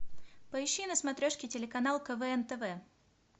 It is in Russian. поищи на смотрешке телеканал квн тв